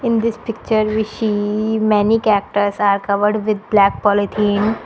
In this picture we see many cactus are covered with black polythene.